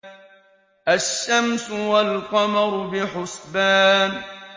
الشَّمْسُ وَالْقَمَرُ بِحُسْبَانٍ